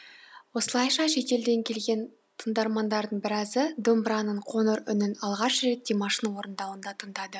осылайша шетелден келген тыңдармандардың біразы домбыраның қоңыр үнін алғаш рет димаштың орындауында тыңдады